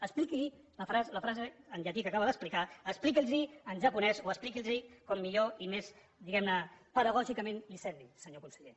expliqui’ls la frase en llatí que acaba d’explicar expliqui’ls ho en japonès o expliqui’ls ho com millor i més diguem ne pedagògicamentconseller